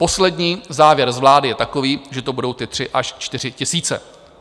Poslední závěr z vlády je takový, že to budou ty 3 až 4 tisíce.